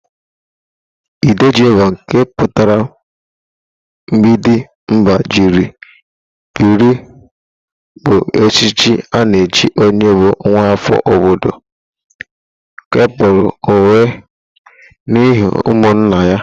Ịdejimba nke pụtara mgbịdị mba jiri biri bụ echichi a na-echi onye bụ nwaafọ obodo kewapụrụ onwe n'ihu ụmụnna ya.